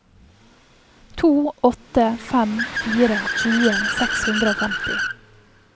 to åtte fem fire tjue seks hundre og femti